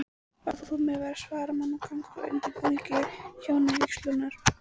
Bað hún mig vera svaramann og ganga frá undirbúningi hjónavígslunnar.